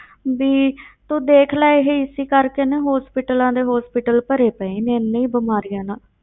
ਵੀ ਤੂੰ ਦੇਖ ਲੈ ਇਹ ਇਸੇ ਕਰਕੇ ਨਾ hospitals ਦੇ hospital ਭਰੇ ਪਏ ਨੇ ਇੰਨੀ ਬਿਮਾਰੀਆਂ ਨਾਲ।